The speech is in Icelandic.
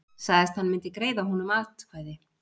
Sagðist hann myndi greiða honum atkvæði